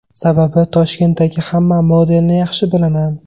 Sababi, Toshkentdagi hamma modelni yaxshi bilaman.